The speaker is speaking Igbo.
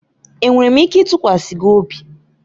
Enwere m ike ịtụkwasị gị obi?